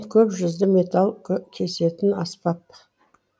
көпжүзді металл кесетін аспап